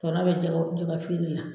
Tɔnɔ bɛ jɛgɛ jɛgɛ feere la.